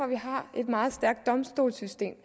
vi har et meget stærkt domstolssystem